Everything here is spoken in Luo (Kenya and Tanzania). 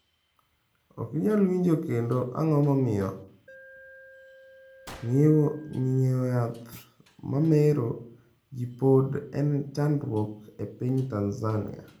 Ok inyal winjo kendo Ang’o momiyo ng’iewo yath ma mero ji pod en chandruok e piny Tanzania?